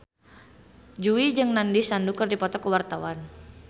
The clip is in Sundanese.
Jui jeung Nandish Sandhu keur dipoto ku wartawan